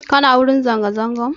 Kuna wurin zanga zangan?